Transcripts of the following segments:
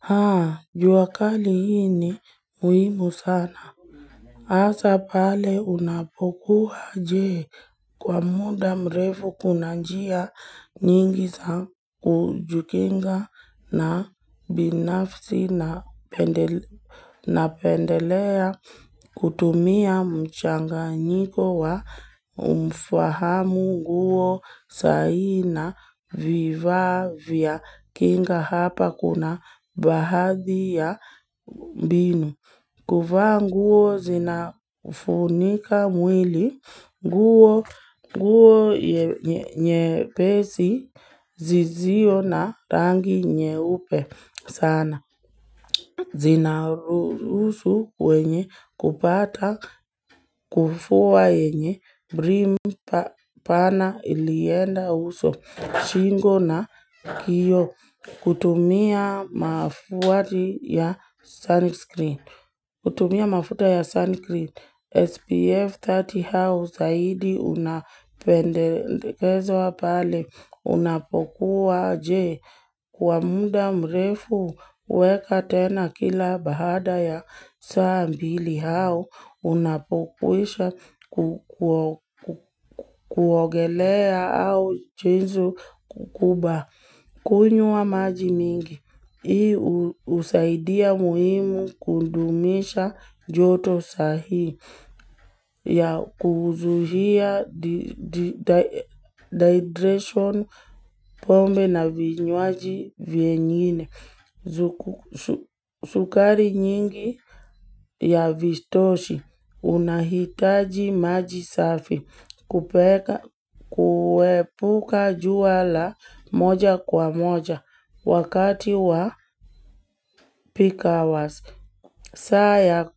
Haa, juakali hii ni muimu sana. Hasa pale unapokua jee kwa muda mrefu kunanjia nyingi za kujikinga na binafsi na pendelea kutumia mchanganyiko wa umfahamu guo sahii vifaa vya kinga hapa kuna baadhi ya mbinu. Kuvaa nguo zinafunika mwili, nguo nye pesi, zisio na rangi nyeupe sana. Zinahusu wenye kupata, kufuwa yenye, brim pana ilienda uso, chingo na kioo, kutumia mafuta ya sunscreen. Kutumia mafuta ya sunscreen SPF 30 au zaidi unapendekezwa pale unapokuwa je kuamuda mrefu weka tena kila baada ya saambili au unapokuisha kuogelea au mchezo mkukubwa. Kunywa maji mingi, hii usaidia muhimu kudumisha joto sahii ya kuzuhia dehydration pombe na vinywaji viengine. Sukari nyingi ya vistoshi unahitaji majisafi kupeka kuepuka jua la moja kwa moja wakati wa peak hours. Saa ya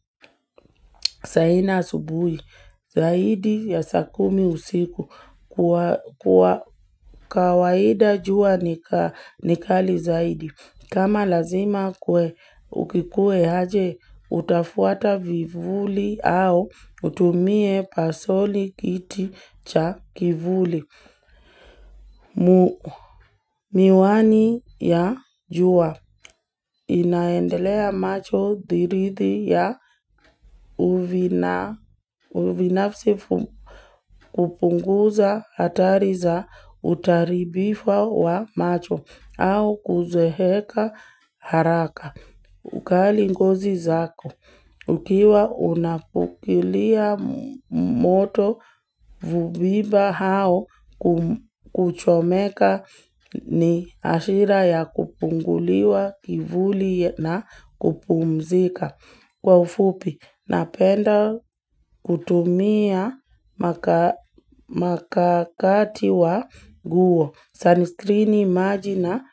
saa nne asubuhi, zaidi ya saa kumi usiku kwa kawaida jua nikali zaidi. Kama lazima kwe ukikue aje, utafuata vivuli au utumie pasoli kiti cha kivuli. Miwani ya jua inaendelea macho dirithi ya uvinafsi kupunguza hatari za utaribifa wa macho au kuzeeka haraka. Ukali ngozi zako. Ukiwa unapukilia moto hunipa hao kuchomeka ni ashira ya kupunguliwa kivuli na kupumzika. Kwa ufupi, napenda kutumia makakati wa nguo. Sunscreeni maji na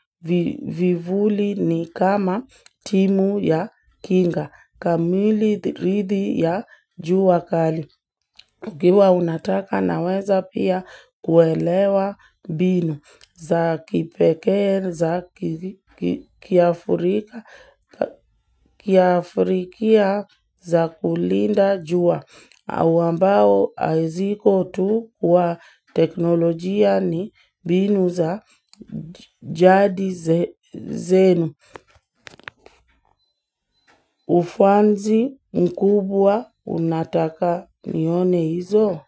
vivuli ni kama timu ya kinga. Kamili rithi ya jua wakali. Ukiwa unataka naweza pia kuelewa mbinu za kipekee, za kiafrika, za kulinda jua. Ambao haziko tu wa teknolojia ni binu za jadi zenu. Ufanzi mkubwa unataka nione hizo.